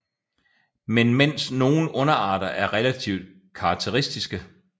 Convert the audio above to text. Men mens nogle underarter er relativt karakteristiske